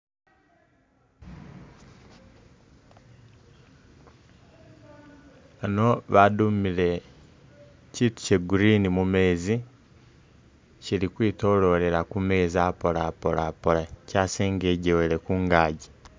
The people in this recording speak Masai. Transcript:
Ano badumile kyitu kye Green mumeezi ,kyili kwitololela kumeezi apola apola apola, kyasingejewele kungaaji